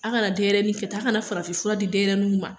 A kana denyɛrɛni kɛ tan a kana farafinfura di denyɛrɛnuw ma